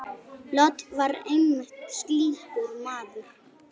Lot var einmitt slíkur maður.